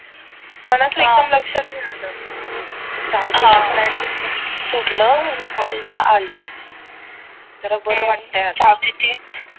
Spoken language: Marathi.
पण असं एकदम लक्षात नाही आलं जाउदे सोडलं आणि कॉलेज ला आलो तर बरं वाटतं आता